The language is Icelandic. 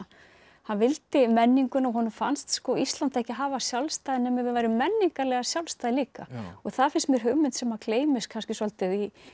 hann vildi menninguna og honum fannst Ísland ekki hafa sjálfstæði nema við værum menningarlega sjálfstæð líka og það finnst mér hugmynd sem gleymist kannski svolítið í